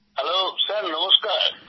hello sir নমস্কার